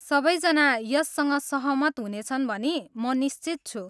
सबैजना यससँग सहमत हुनेछन् भनी म निश्चित छु।